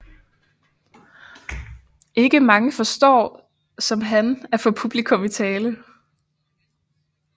Ikke mange forstår som han at få publikum i tale